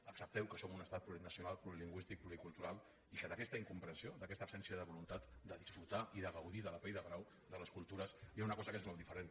accepteu que som un estat plurinacional plurilingüístic pluricultural i que d’aquesta incomprensió d’aquesta absència de voluntat de disfrutar i de gaudir de la pell de brau de les cultures hi ha una cosa que és molt diferent